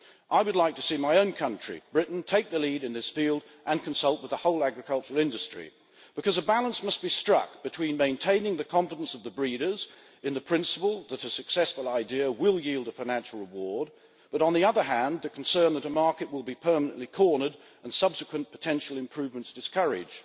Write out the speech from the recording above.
I would like to see my own country, Britain, take the lead in this field and consult with the whole agricultural industry, because a balance must be struck between maintaining the confidence of the breeders in the principle that a successful idea will yield a financial reward, but, on the other hand, the concern that the market will be permanently cornered and subsequent potential improvements discouraged.